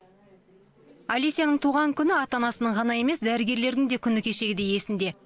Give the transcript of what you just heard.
алесяның туған күні ата анасының ғана емес дәрігерлердің де күні кешегідей есінде